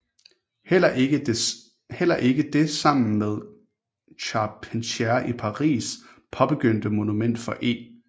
Heller ikke det sammen med Charpentier i Paris paabegyndte Monument for E